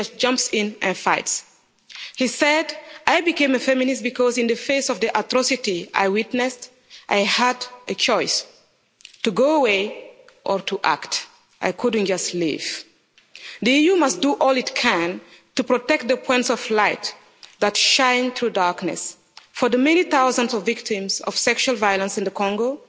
He just jumps in and fights. He said, I became a feminist because, in the face of the atrocity I witnessed, I had a choice to go away or to act. I couldn't just leave'. The EU must do all it can to protect the points of light that shine through darkness. For the many thousands of victims of sexual violence in the Congo,